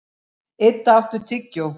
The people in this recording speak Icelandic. Idda, áttu tyggjó?